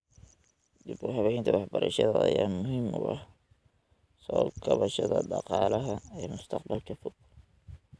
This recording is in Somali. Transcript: Dib-u-habaynta waxbarashada ayaa muhiim u ah soo kabashada dhaqaalaha ee mustaqbalka fog.